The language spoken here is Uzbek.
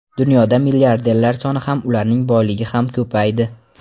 Dunyoda milliarderlar soni ham, ularning boyligi ham ko‘paydi.